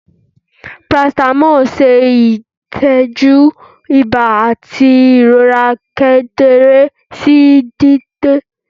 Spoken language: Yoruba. Paracetamol ṣe itọju iba ati irora kekere si dede